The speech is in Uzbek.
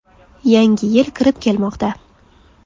Yangi yil kirib kelmoqda.